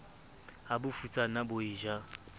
ha bofutsana bo e ja